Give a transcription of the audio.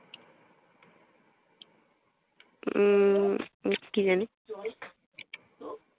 উম কি জানি